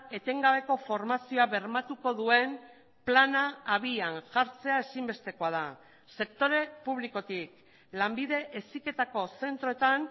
etengabeko formazioa bermatuko duen plana abian jartzea ezinbestekoa da sektore publikotik lanbide heziketako zentroetan